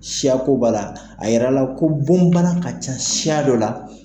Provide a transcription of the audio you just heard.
Siyakoba la , a yɛrɛ la ko bon bana ka ca siya dɔ la.